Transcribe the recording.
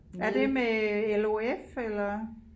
Er det med LOF eller